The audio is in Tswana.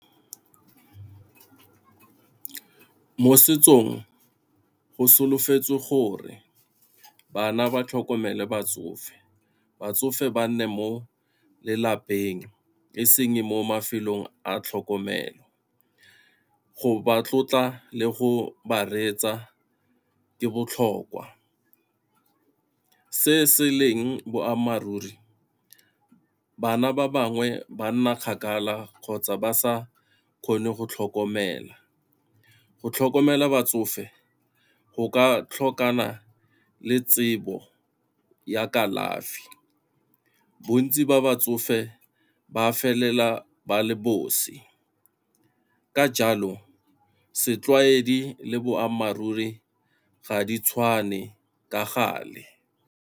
Mo setsong go solofetswe gore bana ba tlhokomele batsofe, batsofe ba nne mo lelapeng e seng mo mafelong a tlhokomelo. Go ba tlotla le go ba reetsa ke botlhokwa, se se leng boammaaruri bana ba bangwe banna kgakala kgotsa ba sa kgone go tlhokomela, go tlhokomela batsofe go ka tlhokana le tsebo ya kalafi. Bontsi ba ba tsofe ba felela ba le bosi, ka jalo setlwaedi le boammaruri ga di tshwane ka gale.